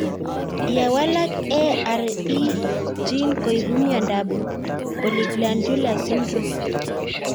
Ye walak AIRE gene koipu miondop polyglandular syndrome